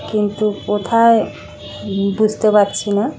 কিন্ত কোথায় হুম বুঝতে পারছি না ।